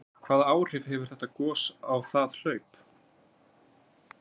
Hvaða áhrif hefur þetta gos á það hlaup?